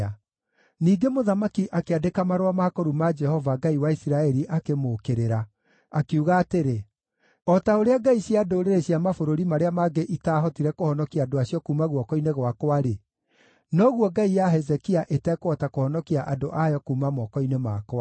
Ningĩ mũthamaki akĩandĩka marũa ma kũruma Jehova, Ngai wa Isiraeli akĩmũũkĩrĩra, akiuga atĩrĩ, “O ta ũrĩa ngai cia ndũrĩrĩ cia mabũrũri marĩa mangĩ itaahotire kũhonokia andũ acio kuuma guoko-inĩ gwakwa-rĩ, noguo ngai ya Hezekia ĩtekũhota kũhonokia andũ ayo kuuma moko-inĩ makwa.”